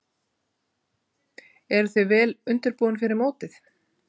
Eruð þið vel undirbúnir fyrir mótið?